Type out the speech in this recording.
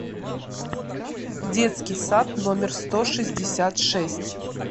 детский сад номер сто шестьдесят шесть